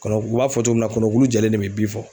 Kɔnɔ ku u b'a fɔ cogo min na kɔnɔkulu jɛlen ne bɛ bi fɔ.